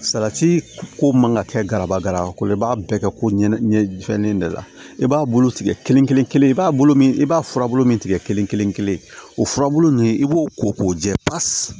Salati ko man ka kɛ garabala ko ye i b'a bɛɛ kɛ koɲɛ ɲɛfanen de la i b'a bolo tigɛ kelen kelen kelen i b'a bolo min i b'a furabulu min tigɛ kelen kelen kelen o furabulu nin i b'o ko k'o jɛ pasi